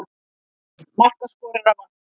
Einn markaskorara vantar.